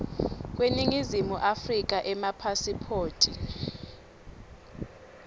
kweningizimu afrika emapasiphoti